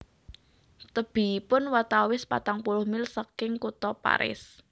Tebihipun watawis patang puluh mil saking Kutha Paris